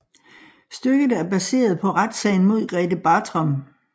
Stykket er baseret på retssagen mod Grethe Bartram